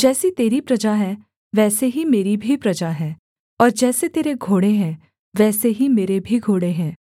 जैसी तेरी प्रजा है वैसी ही मेरी भी प्रजा है और जैसे तेरे घोड़े हैं वैसे ही मेरे भी घोड़े हैं